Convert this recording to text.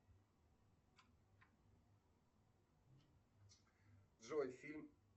джой фильм